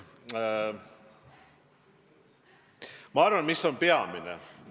Mis on minu arvates peamine?